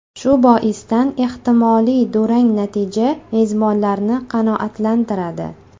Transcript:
Shu boisdan ehtimoliy durang natija mezbonlarni qanoatlantiradi.